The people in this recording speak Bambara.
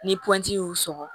Ni pɔnti y'u sɔgɔ